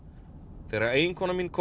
þegar eiginkona mín kom